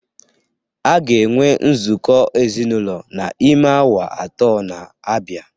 A ga-enwe nzukọ ezinụlọ n’ime awa atọ na-abịa